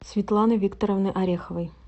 светланы викторовны ореховой